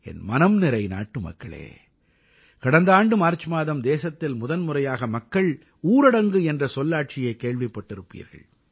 என் மனம் நிறை நாட்டுமக்களே கடந்த ஆண்டு மார்ச் மாதம் தேசத்தில் முதன்முறையாக மக்கள் ஊரடங்கு என்ற சொல்லாட்சியைக் கேள்விப்பட்டிருப்பீர்கள்